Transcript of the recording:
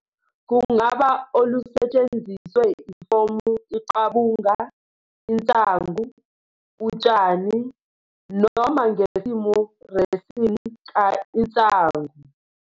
Kungaba olusetshenziswe ifomu "iqabunga" insangu "utshani," noma ngesimo resin ka insangu.